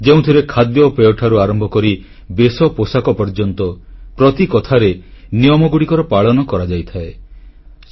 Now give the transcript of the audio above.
ଯେଉଁଥିରେ ଖାଦ୍ୟପେୟଠାରୁ ଆରମ୍ଭ କରି ବେଶପୋଷାକ ପର୍ଯ୍ୟନ୍ତ ପ୍ରତି କଥାରେ ନିୟମଗୁଡ଼ିକର ପାଳନ କରାଯାଇଥାଏ